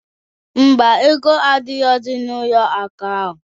Mba, ego adirọzi n'ụlọ akụ ahụ.